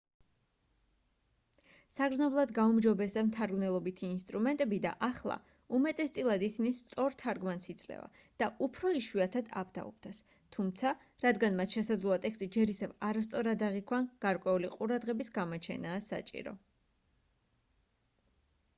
საგრძნობლად გაუმჯობესდა მთარგმნელობითი ინსტრუმენტები და ახლა უმეტესწილად ისინი სწორ თარგმანს იძლევა და უფრო იშვიათად აბდაუბდას თუმცა რადგან მათ შესაძლოა ტექსტი ჯერ ისევ არასწორად აღიქვან გარკვეული ყურადღების გამოჩენაა საჭირო